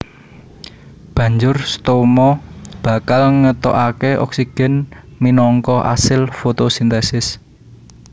Banjur stoma bakal ngetokaké oksigen minangka asil fotosintesis